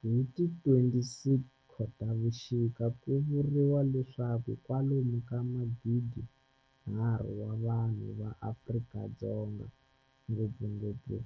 Hi ti 26 Khotavuxika ku vuriwa leswaku kwalomu ka magidinharhu wa vanhu va Afrika-Dzonga, ngopfungopfu